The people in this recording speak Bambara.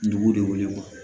Dugu de wele